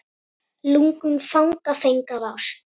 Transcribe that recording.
Lungun fanga feng af ást.